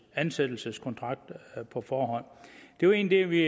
ansættelseskontrakt på forhånd det var egentlig det vi